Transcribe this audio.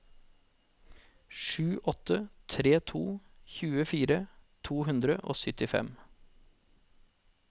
sju åtte tre to tjuefire to hundre og syttifem